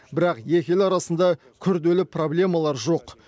бірақ екі ел арасында күрделі проблемалар жоқ